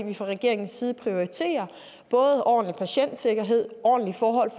vi fra regeringens side prioriterer ordentlig patientsikkerhed ordentlige forhold